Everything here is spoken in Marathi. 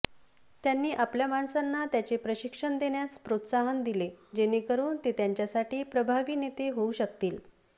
त्यांनी आपल्या माणसांना त्याचे प्रशिक्षण देण्यास प्रोत्साहन दिले जेणेकरून ते त्यांच्यासाठी प्रभावी नेते होऊ शकतील